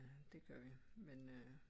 Det gør vi men øh